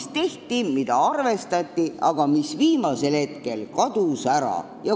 See tehti, seda arvestati, aga viimasel hetkel kadus see mõte ära.